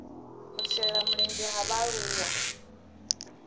u shela mulenzhe ha vhaaluwa